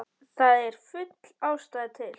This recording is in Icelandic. Það er full ástæða til.